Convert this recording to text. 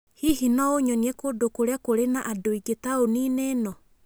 Hihi no ũnyonie kũndũ kũrĩa kũrĩ na andũ aingĩ taũni-inĩ ĩno?